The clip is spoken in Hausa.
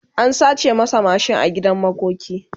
an sace masa mashin a gidan makoki